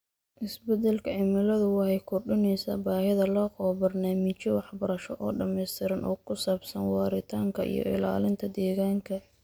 Isbeddelka cimiladu waxay kordhinaysaa baahida loo qabo barnaamijyo waxbarasho oo dhamaystiran oo ku saabsan waaritaanka iyo ilaalinta deegaanka.